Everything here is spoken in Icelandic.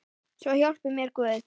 Svo hjálpi mér Guð.